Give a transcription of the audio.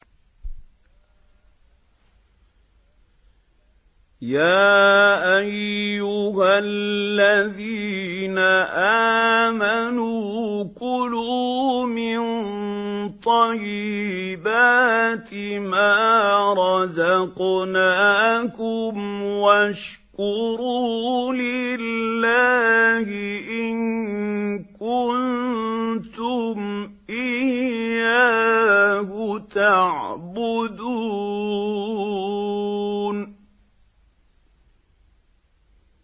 يَا أَيُّهَا الَّذِينَ آمَنُوا كُلُوا مِن طَيِّبَاتِ مَا رَزَقْنَاكُمْ وَاشْكُرُوا لِلَّهِ إِن كُنتُمْ إِيَّاهُ تَعْبُدُونَ